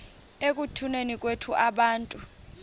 ekutuneni kwethu abantu